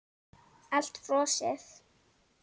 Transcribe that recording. Allt frosið.